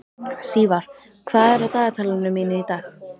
Sívar, hvað er á dagatalinu mínu í dag?